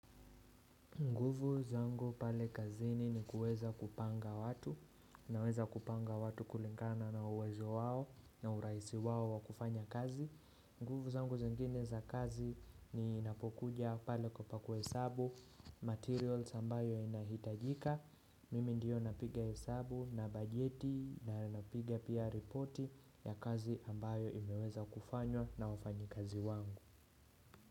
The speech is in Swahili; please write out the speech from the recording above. Nguvu zangu pale kazini ni kuweza kupanga watu, naweza kupanga watu kulingana na uwezo wao na uraisi wao wa kufanya kazi. Nguvu zangu zengine za kazi ninapokuja pale kwa kuhesabu, materials ambayo inahitajika. Mimi ndiyo napige hesabu na bajeti naezapiga pia reporti ya kazi ambayo imeweza kufanywa na wafanyi kazi wangu.